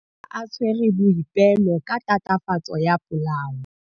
Maphodisa a tshwere Boipelo ka tatofatsô ya polaô.